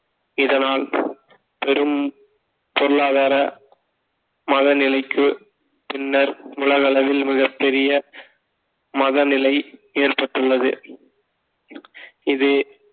இதனால் பெரும் பொருளாதார மதநிலைக்கு பின்னர் உலக அளவில் மிகப்பெரிய மதநிலை ஏற்பட்டுள்ளது இது